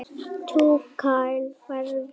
Túkall færðu!